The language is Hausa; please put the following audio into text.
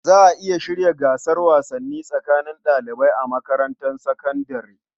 Za a iya shirya gasar wasanni tsakanin ɗalibai a makarantar sakandare.